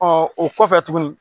o kɔfɛ tuguni